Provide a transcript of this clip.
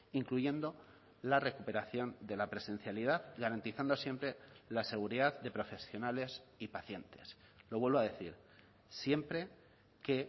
incluyendo la recuperación de la presencialidad garantizando siempre la seguridad de profesionales y pacientes lo vuelvo a decir siempre que